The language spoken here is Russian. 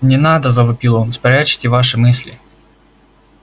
не надо завопил он спрячьте ваши мысли